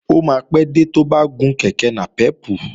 Ó máa pé dé tó bá gun kèké nàpẹ́pù